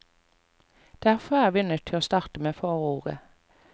Derfor er vi nødt til å starte med forordet.